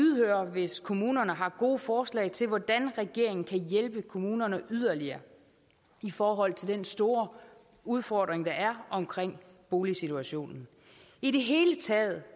hvis kommunerne har gode forslag til hvordan regeringen kan hjælpe kommunerne yderligere i forhold til den store udfordring der er omkring boligsituationen i det hele taget